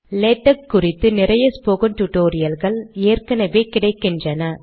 LaTeX குறித்து நிறைய spoken டுடோரியல்கள் ஏற்கெனெவே கிடைக்கின்றன